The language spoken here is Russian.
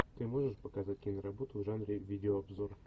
ты можешь показать киноработу в жанре видеообзор